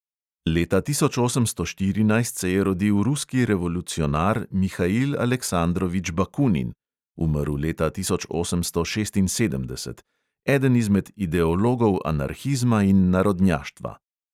Leta tisoč osemsto štirinajst se je rodil ruski revolucionar mihail aleksandrovič bakunin (umrl leta tisoč osemsto šestinsedemdeset), eden izmed ideologov anarhizma in narodnjaštva.